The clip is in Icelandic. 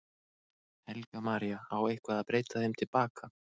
Helga María: Á eitthvað að breyta þeim til baka?